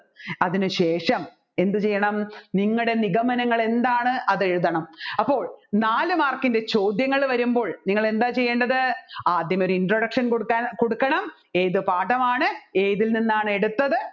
അതിന് ശേഷം എന്ത് ചെയ്യണം നിങ്ങളുടെ നിഗമനങ്ങൾ എന്താണ് അതെഴുതണം അപ്പോൾ നാല് mark ൻറെ ചോദ്യങ്ങൾ വരുംപ്പോൾ നിങ്ങൾ എന്താ ചെയ്യേണ്ടത് ആദ്യം ഒരു introduction കൊടുക്ക കൊടുക്കണം ഏതു പാഠമാണ് ഇതിൽ നിന്നാണ് എടുത്തത്